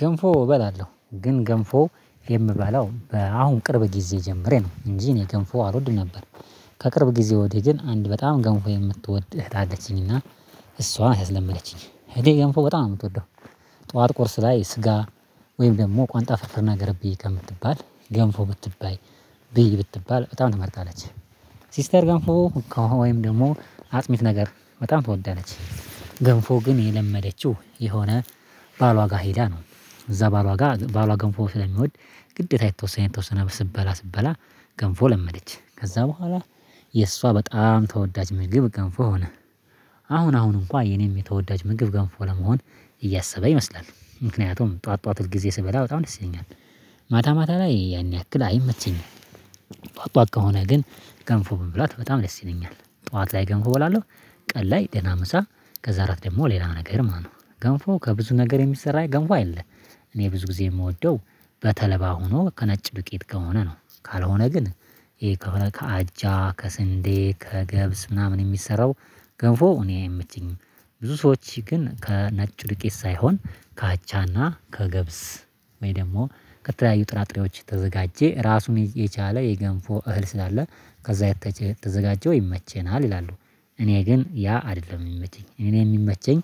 ገንፎ እበላለሁ ግን ገንፎ የምበላው አሁን ቅርብ ጊዜ ጀምሬ ነው እንጂ እኔ ገንፎ አልወድም ነበር። ከቅርብ ጊዜ ወዲህ ግን አንድ በጣም ገንፎ የምትወድ እህት አለችኝና እሷን አስለመደችኝ እህቴ ገንፎ በጣም ነው የምትወደው። ጠዋት ቁርስ ላይ ስጋ ወይም ደግሞ ቋንጣ ፍርፍር ነገር ብዬ ከምትባል ገንፎ ብትባይ ብዬ ብትባል በጣም ትመርጣለች። ሲስተር ጋር ወይም ደግሞ አጥሚት ነገር በጣም ተወዳለች። ገንፎ ግን የለመደችው የሆነ ባሏ ጋር ሄዳ ነው። እዛ ባሏ ጋር ባሏ ገንፎ ስለሚወድ ግዴታ የተወሰነ የተወሰነ ስትበላ ስትበላ ገንፎ ለመደች ከዛ በኋላ የእሷ በጣም ተወዳጅ ምግብ ገንፎ ሆነ። አሁን አሁን እንኳን የኔም የተወዳጅ ምግብ ገንፎ ለመሆን እያሰበ ይመስላል። ምክንያቱም ጠዋት ጠዋት ጊዜ ስበላ በጣም እነሱ ይለኛል ማታ ማታ ላይ ያን ያክል አይመቸኝም። ጧት ጧት ከሆነ ግን ገንፎ መብላት በጣም ደስ ይለኛል ጠዋት ላይ ገንፎ እበላለሁ። ቀን ላይ ደና ምሳ ከዛ አራት ደግሞ ሌላ ነገር ማለት ነው። ገንፎ ከብዙ ነገር የሚሰራ ገንፎ አለእኔ ብዙ ጊዜ የምወደው በተለባ ሆኖ ከነጭ ዱቄት ከሆነ ነው። ካልሆነ ግን ይሄ ከአጃ ከስንዴ ከገብስ ምናምን የሚሰራው ገንፎ እኔ አይመቸኝም። ብዙ ሰዎች ግን ከነጭ ዱቄት ሳይሆን ከአጃና ከገብስ ወይ ደግሞ ከተለያዩ ጥራጥሬዎች ተዘጋጀ ራሱን የቻለ የገንፎ እህል ስላለ ከዛ የተዘጋጀው ይመቸናል ይላሉ። እኔ ግን ያ አይደለም የሚመቸኝ እኔ የሚመቸኝ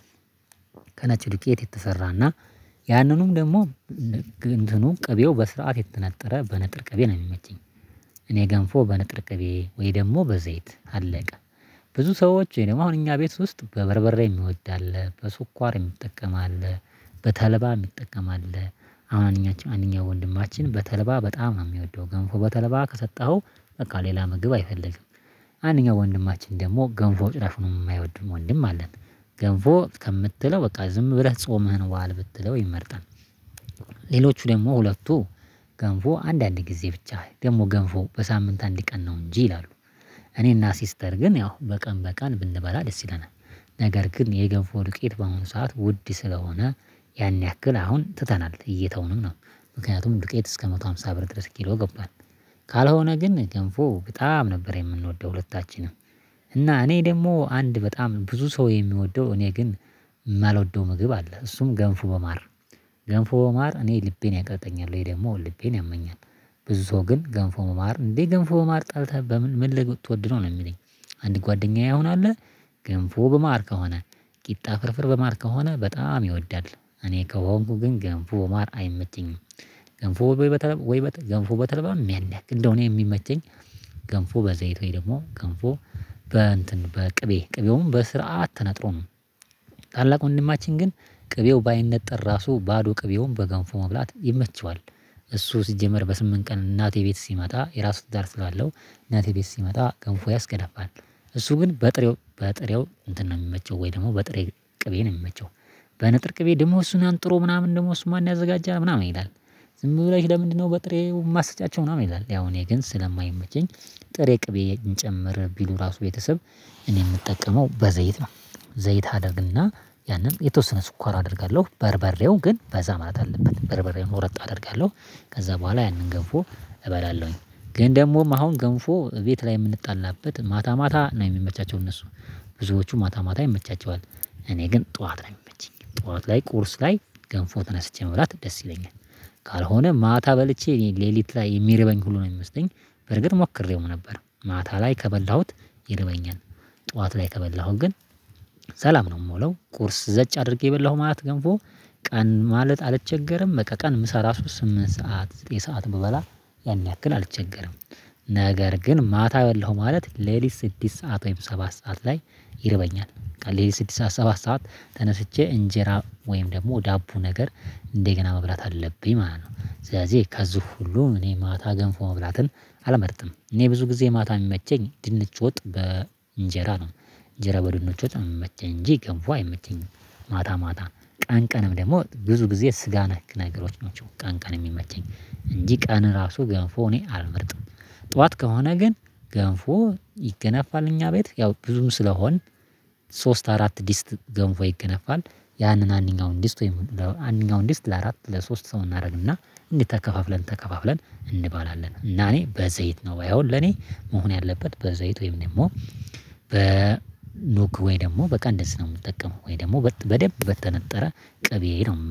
ከነጭ ዱቄት የተሰራና ያንኑም ደግሞ እንትኑ ቅቤው በስርዓት የተነጠረ በንጥር ቅቤ ነው የሚመቸኝ። እኔ ገንፎ በንጥር ቅቤ ወይ ደግሞ በዘይት አለቀ ብዙ ሰዎች ወይ ደግሞ አሁን እኛ ቤት ውስጥ በበርበሬ የሚወድ አለ በስኳር የሚጠቀም አለ። በተለባ የሚጠቀም አለ አንደኛችን አንደኛ ወንድማችን በተለባ በጣም የሚወደው ገንፎ በተለባ ከሰጠኸው በቃ ሌላ ምግብ አይፈልግም። አንደኛው ወንድማችን ደግሞ ገንፎ ጭራሽ ነው የማይወድም ወንድም አለን። ገንፎ ከምትለው በቃ ዝም ብለህ ጾምህን ዋል ብትለው ይመርጣል። ሌሎቹ ደግሞ ሁለቱ ገንፎ አንዳንድ ጊዜ ብቻ ደግሞ ገንፎ በሳምንት አንድ ቀን ነው እንጂ ይላሉ። እኔና ሲስተር ግን ያው በቀን በቀን ብንበላ ደስ ይለናል። ነገር ግን የገንፎ ዱቄት በአሁኑ ሰዓት ውድ ስለሆነ ያን ያክል አሁን ትተናል እየተውንም ነው። ምክንያቱም ዱቄት እስከ መቶ ሃምሳ ብር ድረስ ኪሎ ገባን። ካልሆነ ግን ገንፎ በጣም ነበር የምንወደው ሁለታችንም። እና እኔ ደግሞ አንድ በጣም ብዙ ሰው የሚወደው እኔ ግን የማልወደው ምግብ አለ እሱም ገንፉ በማር ገንፉ በማር እኔ ልቤን ያቀርጠኛል ወይ ደግሞ ልቤን ያመኛል። ብዙ ሰው ግን ገንፎ በማር እንዴ ገንፎ በማር ጠልተህ በምን ትወድ ነው የሚለኝ? አንድ ጓደኛዬ አሁን አለ። ገንፎ ገንፉ በማር ከሆነ ቂጣ ፍርፍር በማር ከሆነ በጣም ይወዳል። እኔ ከሆንኩ ግን ገንፎ በማር አይመቸኝም። ገንፎ ወይ በተለይ ገንፎ በተልባ ያን ያክል እንደው እኔ የሚመቸኝ ገንፎ በዘይት ወይ ደግሞ ገንፎ በ እንትን በቅቤ ቅቤውም በስርዓት ተነጥሮ ተነጥሮም ታላቅ ወንድማችን ግን ቅቤው ባይነጠር ራሱ ባዶ ቅቤውን በገንፎ መብላት ይመቸዋል። እሱ ሲጀመር በስምንት ቀን እናቴ ቤት ሲመጣ የራሱ ትዳር ስላለው እናቴ ቤት ሲመጣ ገንፎ ያስገነፍል። እሱ ግን በጥሬው በጥሬው እንትን ነው የሚመቸው ወይ ደግሞ በጥሬ ቅቤ ነው የሚመቸው። በንጥር ቅቤ ደግሞ እሱን አንጥሮ ምናምን ደግሞ እሱ ማን ያዘጋጀሃል ምናምን ይላል። ዝም ብለሽ ለምንድነው በጥሬው ማስጫቸው ምናምን ይላል። ያው እኔ ግን ስለማይመቸኝ ጥሬ ቅቤ እንጨምር ቢሉ ራሱ ቤተሰብ እኔ የምጠቀመው በዘይት ነው። ዘይት አደርግና ያንን የተወሰነ ስኳር አደርጋለሁ በርበሬው ግን በዛ ማለት አለበት በርበሬውን ቆረጥ አደርጋለሁ። ከዛ በኋላ ያንን ገንፎ እበላለሁኝ። ግን ደግሞም አሁን ገንፎ ቤት ላይ የምንጣላበት ማታ ማታ ነው የሚመቻቸው እነሱ ብዙዎቹ ማታ ማታ ይመቻቸዋል። እኔ ግን ጠዋት ነው የሚመቸኝ ጠዋት ላይ ቁርስ ላይ ገንፎ ተነስቼ መብላት ደስ ይለኛል። ካልሆነ ማታ በልቼ ሌሊት ላይ የሚርበኝ ሁሉንም የሚመስለኝ በርግጥ ሞክሬውም ነበር ማታ ላይ ከበላሁት ይርበኛል። ጠዋት ላይ ከበላሁት ግን ሰላም ነው የምውለው ቁርስ ዘጭ አድርጌ የበላሁ ማለት ገንፎ። ቀን ማለት አልቸገርም በቃ ቀን ምሳ ራሱ ስምንት ሰዓት ዘጠኝ ሰዓት ብበላ ያን ያክል አልቸገርም። ነገር ግን ማታ በላሁ ማለት ሌሊት ስድስት ሰዓት ወይም ሰባት ሰዓት ላይ ይርበኛል። ሌሊት ስድስት ሰዓት ሰባት ሰዓት ተነስቼ እንጀራ ወይም ደግሞ ዳቦ ነገር እንደገና መብላት አለብኝ ማለት ነው። ስለዚህ ከዚህ ሁሉ እኔ ማታ ገንፎ መብላትን አልመርጥም እኔ ብዙ ጊዜ ማታ የሚመቸኝ ድንች ወጥ በእንጀራ ነው። እንጀራ በድንች ውጤት የምመቸኝ እንጂ ገንፎ አይመቸኝም። ማታ ማታ ቀን ቀንም ደግሞ ብዙ ጊዜ ስጋ ነክ ነገሮች ናቸው። ቀን ቀን የሚመቸኝ እንጂ ቀን ራሱ ገንፎ እኔ አልመርጥም። ጠዋት ከሆነ ግን ገንፎ ይገነፋል እኛ ቤት ያው ብዙም ስለሆን ሶስት አራት ዲስት ገንፎ ይገነፋል። ያንን አንደኛውን ዲስት ወይም አንደኛው ለአራት ለሶስት ሰው እናደርግና እንዲህ ተከፋፍለን ተከፋፍለን እንባላለን እና እኔ በዘይት ነው ባይ አሁን ለኔ መሆን ያለበት በዘይት ወይም ደግሞ። በኑግ ወይ ደግሞ በቃ እንደዚህ ነው የምጠቀመው ወይ ደግሞ በደንብ በተነጠረ ቅቤ ነው